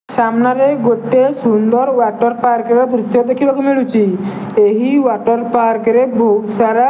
ସାମ୍ନାରେ ଗୋଟେ ସୁନ୍ଦର୍ ୱାଟର୍ ପାର୍କ ର ଦୃଶ୍ୟ ଦେଖିବାକୁ ମିଳୁଛି ଏହି ୱାଟର ପାର୍କ ରେ ବୋହୁତ୍ ସାରା --